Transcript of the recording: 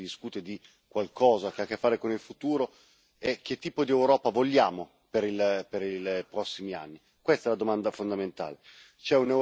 E la domanda principale è, quando si discute di qualcosa che ha a che fare con il futuro, che tipo di Europa vogliamo per i prossimi anni.